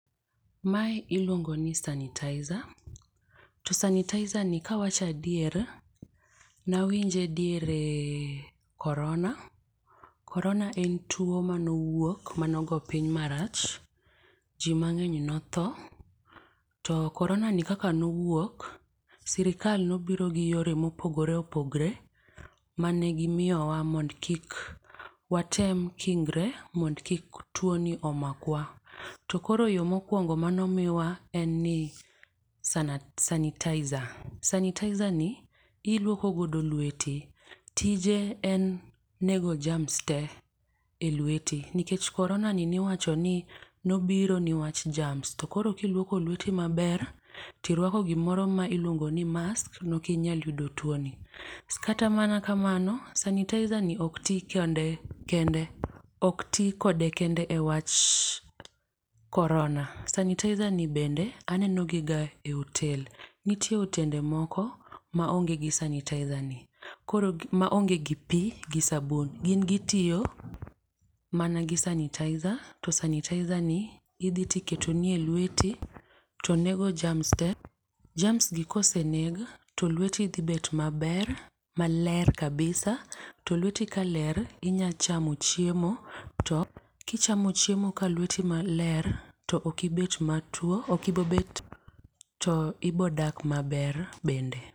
Mae iluongoni sanitizer to sanitizani kawacho adier, nawinje diere korona. korona en tuwo manowuok manogo piny marach, ji mang'eny notho. To koronani kaka nowuok, sirikal nobiro gi yore mopogore opogore mane gimiyowa mondo kik watem kingre mondo kik tuwoni omakwa. To koro yo mokwongo manomiwa en ni sanitizer. Sanitizani iluoko godo lweti. Tije en nego germs te e lweti, nikech koronani niwacho ni nobiro niwach germs, to koro kilwoko lweti tirwako gimoro ma iluongo ni mask nokinyal yudo tuwoni. Kata mana kamano, sanitizani ok ti kende, ok ti kode kende e wach korona. Sanitizani bende anenogi ga e otel, nitie otende moko ma onge gi sanitizani. Koro maonge gi pi gi sabun, gin gitiyo mana gi sanitizer, to sanitizani idhi tiketoni e lweti, to nego germs te, germs gi koseneg to lweti dhibet maber, maler kabisa to lweti kaler, inya chamo chiemo to kichamo chiemo ka lweti maler, to ok ibobet ,to ibodak maber bende.